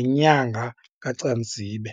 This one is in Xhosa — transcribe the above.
ngenyanga kaCanzibe.